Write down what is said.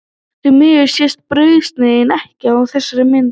Því miður sést brauðsneiðin ekki á þessari mynd.